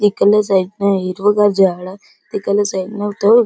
इकडल्या साइड न हिरव गार झाड तिकडल्या साइड न --